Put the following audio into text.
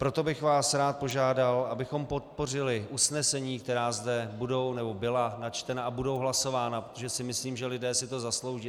Proto bych vás rád požádal, abychom podpořili usnesení, která zde budou nebo byla načtena a budou hlasována, protože si myslím, že lidé si to zaslouží.